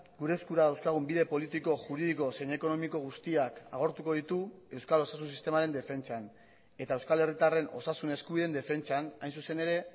gure eskura dauzkagun bide politiko juridiko zein ekonomiko guztiak agortuko ditu euskal osasun sistemaren defentsan eta euskal herritarren osasun eskubideen defentsan hain zuzen ere